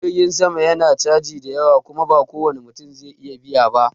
Jirgin sama na caji da yawa Kuma ba kowani mutum zai iya biya ba.